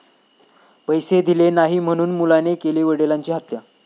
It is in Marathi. पैसे दिले नाही म्हणून मुलाने केली वडिलांची हत्या